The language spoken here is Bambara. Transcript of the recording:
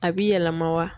A bi yɛlɛma wa